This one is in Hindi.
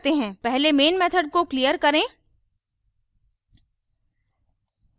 पहले main method को clear करें